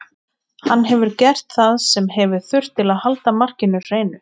Hann hefur gert það sem hefur þurft til að halda markinu hreinu.